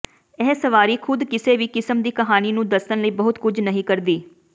ਇਹ ਸਵਾਰੀ ਖੁਦ ਕਿਸੇ ਵੀ ਕਿਸਮ ਦੀ ਕਹਾਣੀ ਨੂੰ ਦੱਸਣ ਲਈ ਬਹੁਤ ਕੁਝ ਨਹੀਂ ਕਰਦੀ